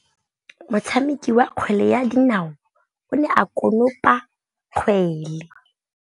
Motshameki wa kgwele ya dinaô o ne a konopa kgwele.